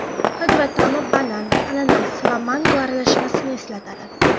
Hid va ta’mi banan, ananas va mango aralashmasini eslatadi.